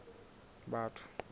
batho